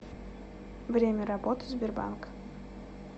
время работы сбербанк